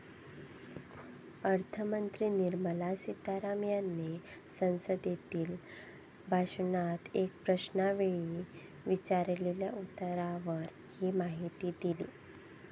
अर्थमंत्री निर्मला सितारमण यांनी संसदेतील भाषणात एका प्रश्नावेळी विचारलेल्या उत्तरावर ही माहिती दिली.